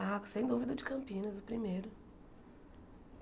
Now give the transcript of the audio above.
Ah, sem dúvida o de Campinas, o primeiro.